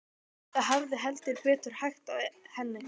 Það hafði heldur betur hægt á henni.